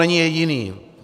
Není jediný.